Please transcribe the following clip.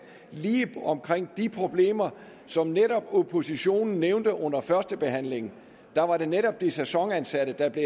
lige omkring de problemer som oppositionen netop nævnte under førstebehandlingen der var det netop de sæsonansatte der blev